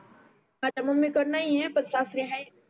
अच्छा मम्मी कडे नाही आहे पण सासरे आहे